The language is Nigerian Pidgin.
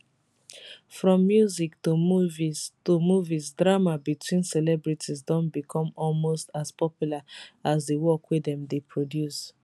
from music to movies to movies drama between celebrities don become almost as popular as di work dem dey produce